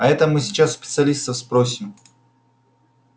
а это мы сейчас у специалистов спросим